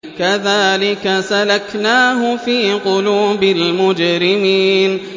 كَذَٰلِكَ سَلَكْنَاهُ فِي قُلُوبِ الْمُجْرِمِينَ